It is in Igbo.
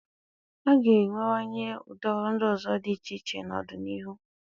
A ga-enwewanye ụdị ọrụ ndị ọzọ dị iche iche n'ọdịnihu.